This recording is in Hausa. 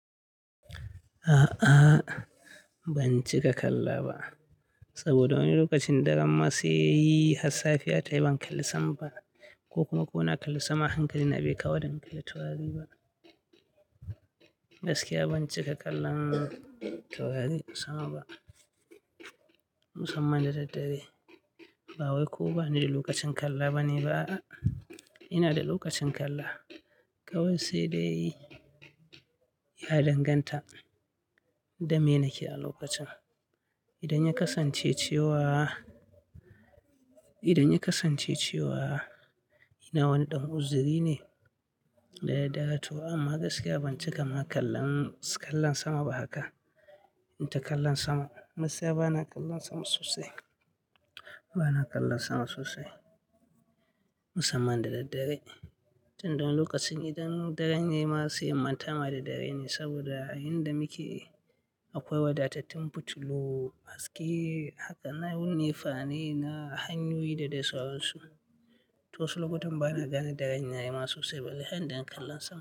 A'a ban cika kalla ba saboda wani lokacin daren masu yi hassafiya tayi ban kalli sama ba ko kuma kona kalli sama hankali na bai kawo da in kalli taurari ba. Gaskiya ban cika kallon taurari sama ba musamman da daddare. Ba wai ko bani da lokacin kalla bane ba a'a ina da lokacin kalla kawai sai dai ya danganta da me nake a lokacin. Idan ya kasance cewa, idan ya kasance cewa ina wani ɗan uzuri ne da ya dawo to amma gaskiya ban cika ma kallon, kallon sama ba haka. Inta kallon sama massa bana kallon sama sosai, bana kallon sama sosai musamman da daddare. Tin da wani lokacin idan daren yayi ma se in mantama da dare ne saboda a inda muke akwai wadatattun fitilu haske haka nan nefa ne na hanyoyi da dai sauransu. To wasu lokutan bana gane daren yayi ma sosai balle har idan kallon sama.